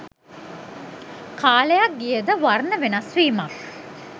කාලයක් ගියද වර්ණ වෙනස් වීමක්